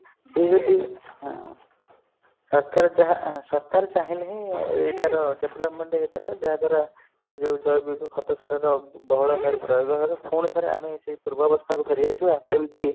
ସିଏ ଯଦି ହଁ ସରକାର ଯାହା ସରକାର ଚାହିଁଲେ ହିଁ ଏଇଟାର development ହେଇପାରିବ ଯାହା ଦ୍ଵାରା ଏଇ ଯୋଉ ଜୈବିକ ଖତସାରର ବହୁଳ ଭାବେ ପ୍ରୟୋଗ ହବ ପୁଣିଥରେ ଆମେ ସେଇ ପୂର୍ବାବସ୍ଥା କୁ ଫେରିଆସିବା ଯେମିତି